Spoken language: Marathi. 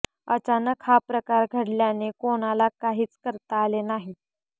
अचानक हा प्रकार घडल्याने कोणाला काहीच करता आले नाही